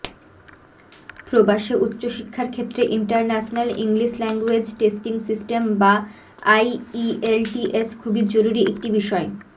প্রবাশে উচ্চশিক্ষার ক্ষেত্রে international English language testing system বা আইইএলটিএস খুবই জরুরি একটি বিষয়